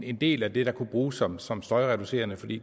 en del af det der kunne bruges som som støjreducerende for det